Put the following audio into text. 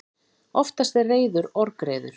Oftast er reiður orgreiður.